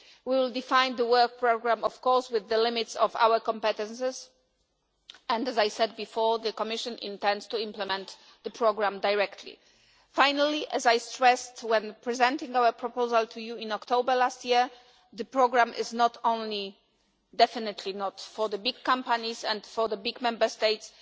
We will define the work programme, of course, with the limits of our competitors and, as I said before, the Commission intends to implement the programme directly. Finally, as I stressed when presenting our proposal to you in October last year, the programme is not only definitely not for the big companies and for the big Member States.